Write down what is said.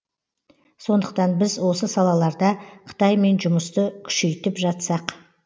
сондықтан біз осы салаларда қытаймен жұмысты күшейтіп жатсақ